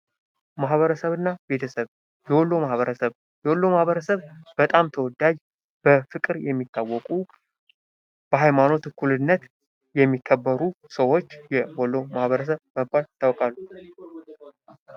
ማበረሰብና ቤተሰብ የወሎ ማህበረሰብ በጣም ተወዳጅ በፍቅር የሚታወቁ በሃይማኖት እኩልነት የሚከበሩ ሰዎች የወሎ ማህበረሰብ በመባል ይታወቃሉ።